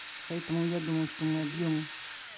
поэтому я думаю что мы объемы